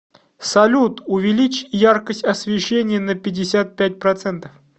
салют увеличь яркость освещения на пятьдесят пять процентов